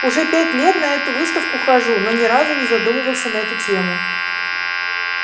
уже пять лет на эту выставку хожу но ни разу не задумывался на эту тему